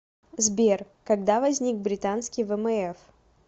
сбер когда возник британский вмф